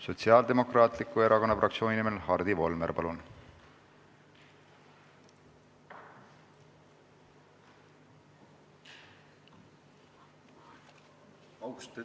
Sotsiaaldemokraatliku Erakonna fraktsiooni nimel Hardi Volmer, palun!